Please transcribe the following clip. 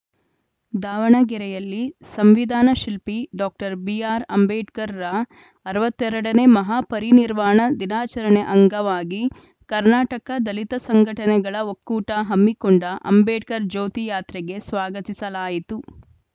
ದಾವಣಗೆರೆಯಲ್ಲಿ ಸಂವಿಧಾನ ಶಿಲ್ಪಿ ಡಾಕ್ಟರ್ ಬಿಆರ್‌ಅಂಬೇಡ್ಕರ್‌ರ ಅರವತ್ತ್ ಎರಡ ನೇ ಮಹಾ ಪರಿನಿರ್ವಾಣ ದಿನಾಚರಣೆ ಅಂಗವಾಗಿ ಕರ್ನಾಟಕ ದಲಿತ ಸಂಘಟನೆಗಳ ಒಕ್ಕೂಟ ಹಮ್ಮಿಕೊಂಡ ಅಂಬೇಡ್ಕರ್‌ ಜ್ಯೋತಿ ಯಾತ್ರೆಗೆ ಸ್ವಾಗತಿಸಲಾಯಿತು